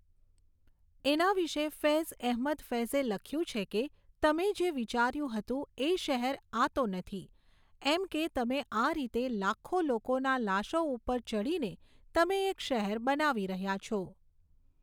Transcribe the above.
એના વિશે ફૈઝ એહમદ ફૈઝે લખ્યું છે કે તમે જે વિચાર્યું હતું એ શહેર આ તો નથી એમ કે તમે આ રીતે લાખો લોકોની લાશો ઉપર ચઢીને તમે એક શહેર બનાવી રહ્યા છો.